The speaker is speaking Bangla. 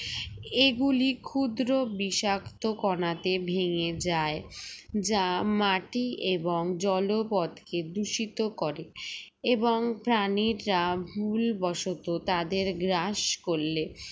এগুলি ক্ষুদ্র বিষাক্ত কনাতে ভেঙে যায় যা মাটি এবং জলপথকে দূষিত করে এবং প্রাণীরা ভুলবশত তাদের গ্রাস করলে